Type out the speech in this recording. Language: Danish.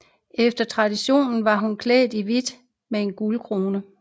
Efter traditionen var hun klædt i hvidt med en guldkrone